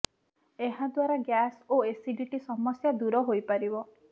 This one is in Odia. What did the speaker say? ଏହା ଦ୍ୱାରା ଗ୍ୟାସ୍ ଓ ଏସିଡିଟି ସମସ୍ୟା ଦୂର ହୋଇପାରିବ